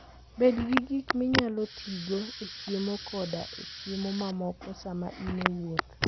Bed gi gik minyalo tigo e chiemo koda e chiemo mamoko sama in e wuoth.